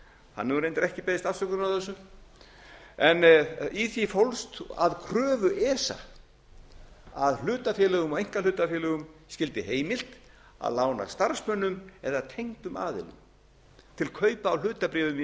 hann hefur reyndar ekki beðist afsökunar á þessu í því fólst að kröfu esa að hlutafélögum og einkahlutafélögum skyldi heimilt að lána starfsmönnum eða tengdum aðilum til kaupa á hlutabréfum í